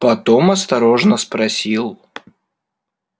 потом осторожно спросил